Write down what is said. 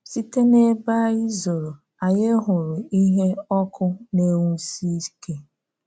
Site n’ebe ànyí zóró, ànyí hụrụ ìhè ọkụ na-enwùsí íké.